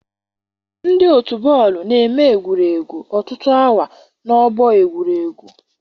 Ndị otu bọọlụ na-eme egwuregwu ọtụtụ awa n'ọgbọ egwuregwu.